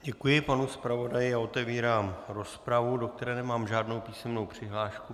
Děkuji panu zpravodaji a otevírám rozpravu, do které nemám žádnou písemnou přihlášku.